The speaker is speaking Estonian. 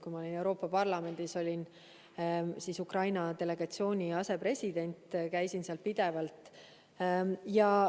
Kui ma olin Euroopa Parlamendis, siis ma olin Ukraina-delegatsiooni asepresident, käisin seal pidevalt.